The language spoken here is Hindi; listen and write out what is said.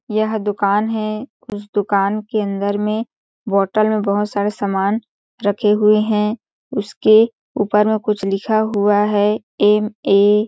यह दुकान है उस दुकान के अंदर में बॉटल में बहोत सारा समान रखे हुए है उसके ऊपर में कुछ लिखा हुआ है एम ए --